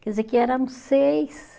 Quer dizer que éramos seis.